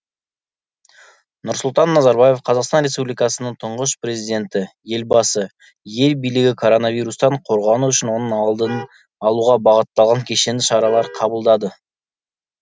нұрсұлтан назарбаев қазақстан республикасының тұңғыш президенті елбасы ел билігі коронавирустан қорғану үшін оның алдын алуға бағытталған кешенді шаралар қабылдады